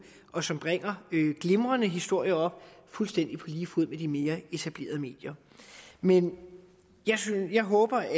og som bringer glimrende historier fuldstændig på lige fod med de mere etablerede medier men jeg håber